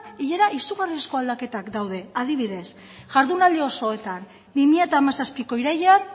izugarrizko aldaketak daude adibidez jardunaldi osoetan bi mila hamazazpiko irailean